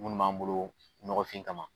Minnu b'an bolo ɲɔgɔfin kama